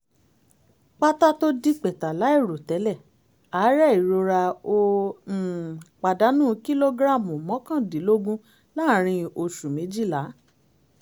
pátá tó dípẹtà láìròtẹ́lẹ̀ àárẹ̀ ìrora ó um pàdánù kìlógíráàmù mọ́kàndínlógún láàárín oṣù méjìlá